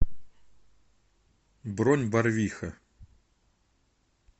бронь барвиха